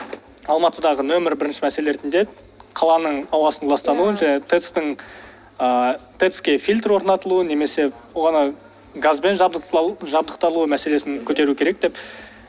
алматыдағы номер бірінші мәселеле ретінде қаланың ауасын ластану тэц тың ыыы тэц ке фильтр орнатылуы немесе оны газбен жабдықталу мәселесін көтеру керек деп